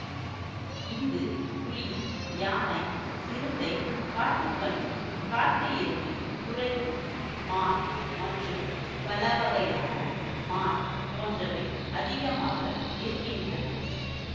இங்கு புலி யானை சிறுத்தை காட்டுப்பன்றி காட்டுஎருமை குரைக்கும் மான் மற்றும் பலவகையான மான் போன்றவை அதிகமாக இருக்கின்றன